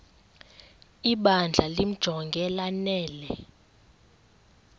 ibandla limjonge lanele